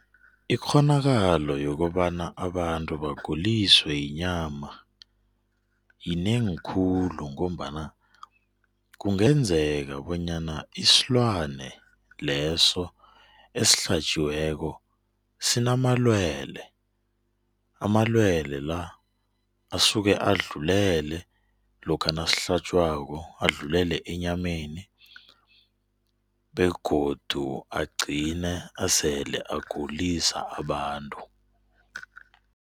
Ikghonakalo yokobana abantu baguliswe yinyama yinengi khulu ngombana kungenzeka bonyana isilwane leso esihlatjiweko, sinamalwele. Amalwelwe la asuka adlulele lokha nasihlatjwako, adlulele enyameni begodu agqine esele ayagulisa abantu.